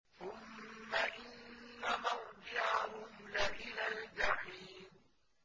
ثُمَّ إِنَّ مَرْجِعَهُمْ لَإِلَى الْجَحِيمِ